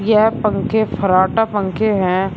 यह पंखे फर्राटा पंखे हैं।